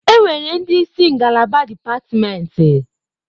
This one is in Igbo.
Enwere ndị isi ngalaba dipatimenti.